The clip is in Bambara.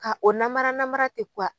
Ka o namara namara kɛ